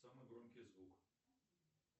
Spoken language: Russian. самый громкий звук